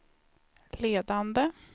ledande